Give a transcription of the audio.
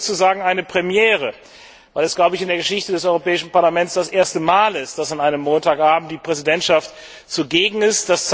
Das ist sozusagen eine Premiere, weil es, wie ich glaube, in der Geschichte des Europäischen Parlaments das erste Mal ist, dass an einem Montagabend die Präsidentschaft zugegen ist.